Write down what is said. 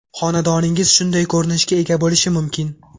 Xonadoningiz shunday ko‘rinishga ega bo‘lishi mumkin.